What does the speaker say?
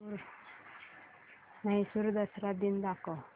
म्हैसूर दसरा दिन दाखव